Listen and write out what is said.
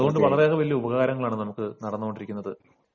അതുകൊണ്ട് വളരെയധികം നല്ല ഉപകാരങ്ങളാണ് നമുക്ക് നടന്നുകൊണ്ടിരിക്കുന്നത്